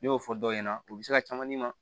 Ne y'o fɔ dɔw ɲɛna u bɛ se ka caman d'i ma